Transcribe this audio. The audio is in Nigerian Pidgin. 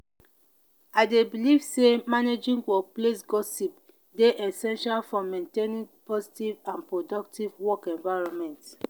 i dey believe say managing workplace gossip dey essential for maintaining positive and productive work environment.